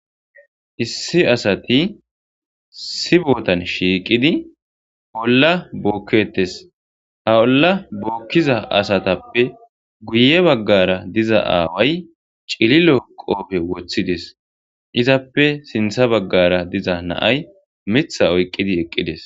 Issi asati issi bootan shiiqidi olla bookketes. Ha olla bookkiza asatappe guye baggara diza aaway cililo qoope woththides. Izappe sintha baggara diza na7ay mitha oyqqidi eqqides.